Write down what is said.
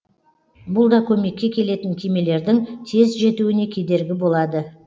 бұл да көмекке келетін кемелердің тез жетуіне кедергі болады